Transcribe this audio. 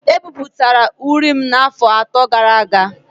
E bipụtara uri m n’afọ atọ gara aga